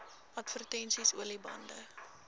advertensies olie bande